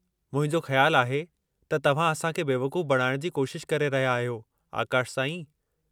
मुंहिंजो ख़्यालु आहे त तव्हां असां खे बेवक़ूफ़ बणाइण जी कोशिश करे रहिया आहियो, आकाश साईं।